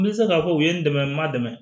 N bɛ se k'a fɔ u ye n dɛmɛ n ma dɛmɛ